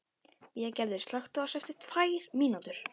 Végerður, slökktu á þessu eftir tvær mínútur.